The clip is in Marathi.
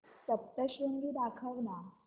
सप्तशृंगी दाखव ना